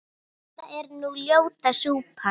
þetta er nú ljóta súpan